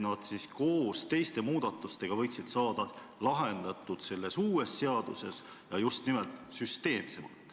Need võiks jõustada koos teiste muudatustega ja saada lahendatud selles uues seaduses, ja just nimelt süsteemselt.